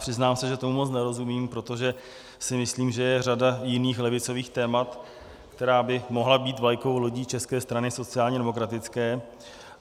Přiznám se, že tomu moc nerozumím, protože si myslím, že je řada jiných levicových témat, která by mohla být vlajkovou lodí České strany sociálně demokratické.